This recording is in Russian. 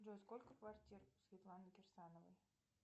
джой сколько квартир у светланы кирсановой